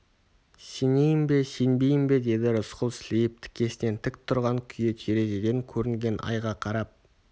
сенейін бе сенбейін бе деді рысқұл сілейіп тікесінен тік тұрған күйі терезеден көрінген айға қарап